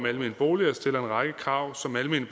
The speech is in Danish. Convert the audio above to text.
almene boliger stiller en række krav som almene